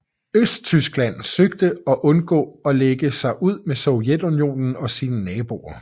Østtyskland søgte at undgå at lægge sig ud med Sovjetunionen og sine naboer